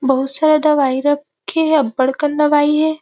बहुत सारा दवाई रखे है अबड़कन दवाई हे ।